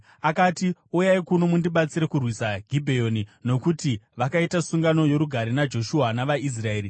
Akati, “Uyai kuno mundibatsire kurwisa Gibheoni, nokuti vakaita sungano yorugare naJoshua navaIsraeri.”